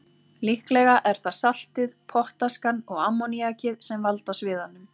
Líklega er það saltið, pottaskan og ammoníakið sem valda sviðanum.